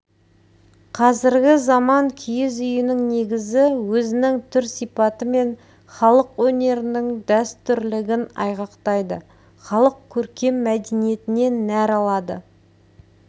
қазіргі заманғы киіз үйінің негізі өзінің түр-сипатымен халық өнерінің дәстүрлігін айғақтайды халық көркем мәдениетінен нәр алады